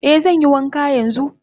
Eh zanyi wanka yanzu.